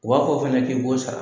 U b'a fɔ fɛnɛ k'i b'o sara.